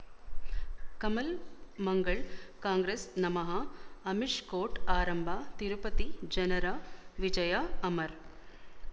ಕಮಲ್ ಮಂಗಳ್ ಕಾಂಗ್ರೆಸ್ ನಮಃ ಅಮಿಷ್ ಕೋರ್ಟ್ ಆರಂಭ ತಿರುಪತಿ ಜನರ ವಿಜಯ ಅಮರ್